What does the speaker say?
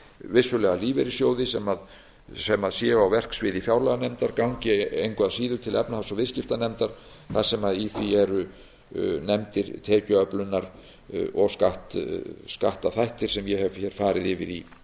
vissulega lífeyrissjóði sem séu á verksviði fjárlaganefndar gangi engu að síður til efnahags og viðskiptanefndar þar sem í því eru nefndir tekjuöflunar og skattaþættir sem ég hef hér